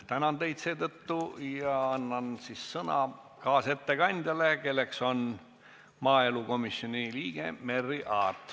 Tänan teid ja annan sõna kaasettekandjale, kelleks on maaelukomisjoni liige Merry Aart.